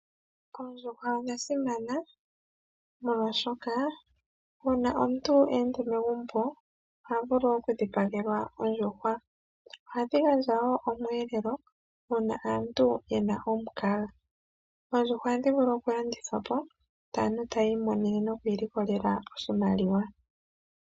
Oondjuhwa odha simana molwaashoka uuna megumbo mweya omuyenda, oha dhipagelwa ondjuhwa, ohadhi gandja woo omweelelo uuna omuntu ena omukaga, oondjuhwa ohadhi vulu woo okulandithwa po yo aantu tayii monene nokwii likolela oshimaliwa.